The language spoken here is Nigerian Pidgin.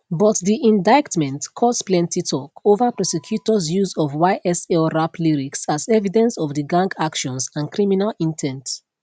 but di indictment cause plenty talk over prosecutors use of ysl rap lyrics as evidence of di gang actions and criminal in ten t